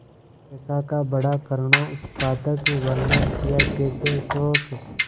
दशा का बड़ा करूणोत्पादक वर्णन कियाकैसे शोक